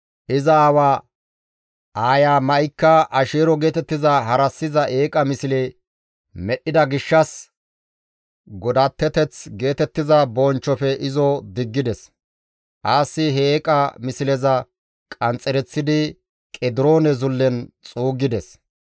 Iza aawa aaya Ma7ika Asheero geetettiza harassiza eeqa misle medhdhida gishshas godatteyntta geetettiza bonchchofe izo diggides. Aasi he eeqa misleza qanxxereththidi Qediroone Zullen xuuggides.